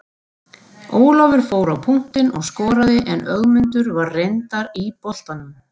Ólafur fór á punktinn og skoraði en Ögmundur var reyndar í boltanum.